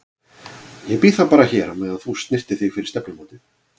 Ég bíð þá bara hér á meðan þú snyrtir þig fyrir stefnumótið.